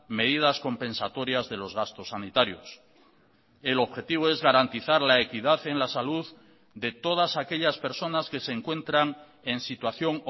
medidas compensatorias de los gastos sanitarios el objetivo es garantizar la equidad en la salud de todas aquellas personas que se encuentran en situación